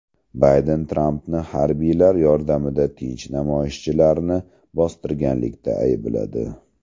Bayden Trampni harbiylar yordamida tinch namoyishchilarni bostirganlikda aybladi.